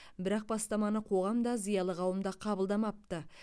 бірақ бастаманы қоғам да зиялы қауым да қабылдамапты